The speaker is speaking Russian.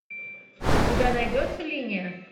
у тебя найдется линия